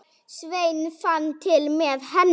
Sveinn fann til með henni.